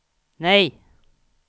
nej